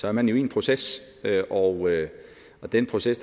er man jo i en proces og den proces